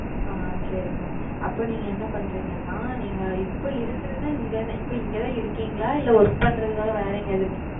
ஆஹ் சரி Ma'am அப்போ நீங்க என்ன பண்றீங்கனா நீங்க இப்போ இருக்குறத இப்போ இங்க தான் இருக்கீங்களா? இல்ல Work பண்றதுக்காக வேறு எங்கயாவது இருக்கீங்களா?